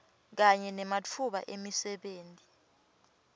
kanye nematfuba emisebenti